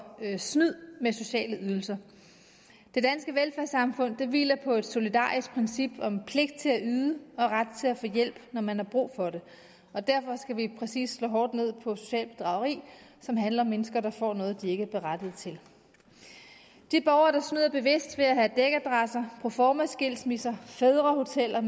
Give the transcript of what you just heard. snyd med sociale ydelser det danske velfærdssamfund hviler på et solidarisk princip om pligt til at yde og ret til at få hjælp når man har brug for det og derfor skal vi præcis slå hårdt ned på socialt bedrageri som handler om mennesker der får noget de ikke er berettiget til de borgere der snyder bevidst ved at have dækadresser proformaskilsmisser og fædrehoteller